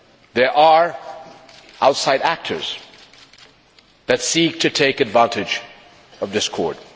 There are outside actors that seek to take advantage of discord.